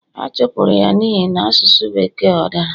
a chụpụrụ ya n'ihi na asụsụ Bekee o dara